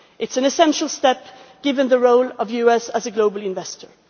It is an essential step, given the role of the US as a global investor.